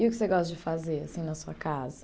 E o que você gosta de fazer, assim, na sua casa?